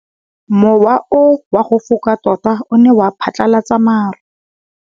Mowa o wa go foka tota o ne wa phatlalatsa maru.